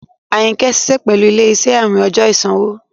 Ayínkẹ́ ṣiṣẹ̀ pẹ̀lú ilẹ̀-iṣẹ̀ àwìn ọjọ́ ìṣanwọ̀.